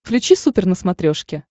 включи супер на смотрешке